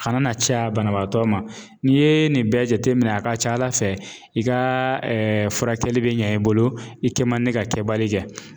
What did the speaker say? A kana na caya banabaatɔ ma. N'i ye nin bɛɛ jateminɛ ,a ka ca Ala fɛ i ka furakɛli be ɲɛ i bolo .I kɛ man di ka kɛbali kɛ.